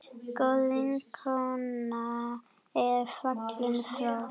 Góð vinkona er fallin frá.